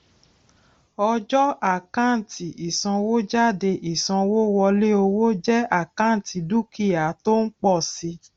ọjọ àkántì ìsanwójáde ìsanwówọlé owó jẹ àkántì dúkìá tó ń pọ si